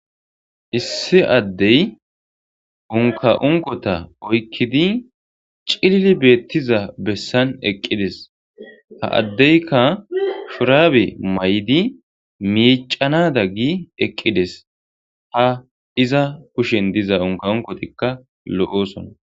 issi addey unka unkota oykkidi cilli beettiza bessan eqqides ha addeyka shuraabe may7di miicanada gi eqqides ha iza kushen diza unka unkotikka lo7osona